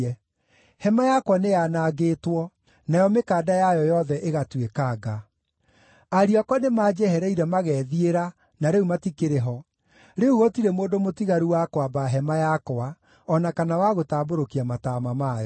Hema yakwa nĩyanangĩtwo, nayo mĩkanda yayo yothe ĩgatuĩkanga. Ariũ akwa nĩmanjehereire magethiĩra na rĩu matikĩrĩ ho; rĩu gũtirĩ mũndũ mũtigaru wa kwamba hema yakwa, o na kana wa gũtambũrũkia mataama mayo.